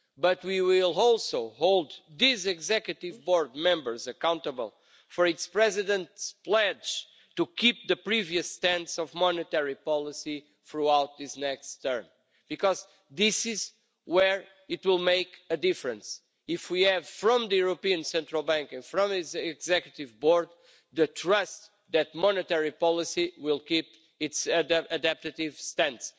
But we will also hold these Executive Board members accountable for its President's pledge to keep the previous stance of monetary policy throughout this next term because this is where it will make a difference if we have from the European Central Bank and from its Executive Board the trust that monetary policy will keep its adaptive stance.